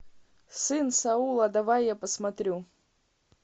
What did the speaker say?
сын саула давай я посмотрю